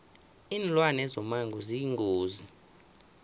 linlwane zomango ziyingozi